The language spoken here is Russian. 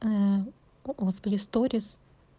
ээ господи сторис